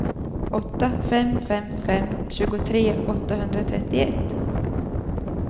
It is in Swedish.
åtta fem fem fem tjugotre åttahundratrettioett